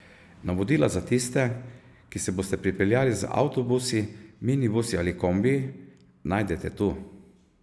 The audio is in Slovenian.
Navodila za tiste, ki se boste pripeljali z avtobusi, minibusi ali kombiji, najdete tu.